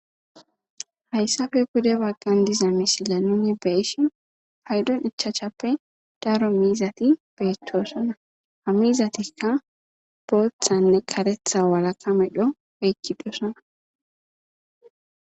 hayssafe pude baggan diza misila nuni beeshi haydon ichaachappe daro miizati beechchoosona ha miizatikka boothanne karetha walaka medho eykki oykidosona